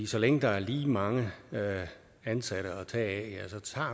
så længe der er lige mange ansatte at tage